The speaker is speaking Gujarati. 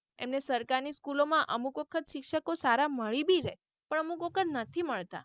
એમને સરકારની school માં અમુક વખત શિક્ષકો સારા મળી બી રે પણ અમુક વખત નથી મળતા.